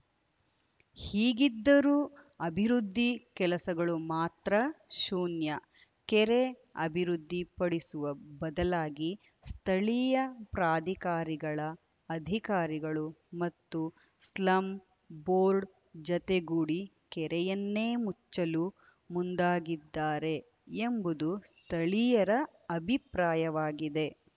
ಹೀಗಿದ್ದರೂ ಅಭಿವೃದ್ಧಿ ಕೆಲಸಗಳು ಮಾತ್ರ ಶೂನ್ಯ ಕೆರೆ ಅಭಿವೃದ್ಧಿಪಡಿಸುವ ಬದಲಾಗಿ ಸ್ಥಳೀಯ ಪ್ರಾಧಿಕಾರಿಗಳ ಅಧಿಕಾರಿಗಳು ಮತ್ತು ಸ್ಲಂ ಬೋರ್ಡ್‌ ಜತೆಗೂಡಿ ಕೆರೆಯನ್ನೇ ಮುಚ್ಚಲು ಮುಂದಾಗಿದ್ದಾರೆ ಎಂಬುದು ಸ್ಥಳೀಯರ ಅಭಿಪ್ರಾಯವಾಗಿದೆ